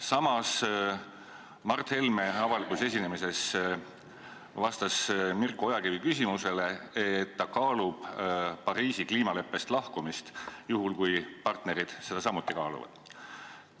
Samas, Mart Helme vastas avalikul esinemisel Mirko Ojakivi küsimusele, et ta kaalub Pariisi kliimaleppest lahkumist, juhul kui partnerid seda samuti kaaluvad.